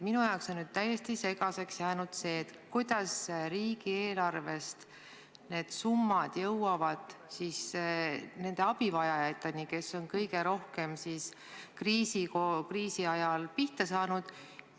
Minu jaoks on täiesti segaseks jäänud, kuidas need summad jõuavad riigieelarvest nende abivajajateni, kes on kõige rohkem kriisi ajal pihta saanud.